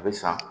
A bɛ san